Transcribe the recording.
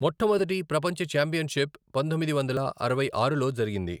మొట్టమొదటి ప్రపంచ ఛాంపియన్షిప్ పంతొమ్మిది వందల అరవై ఆరులో జరిగింది.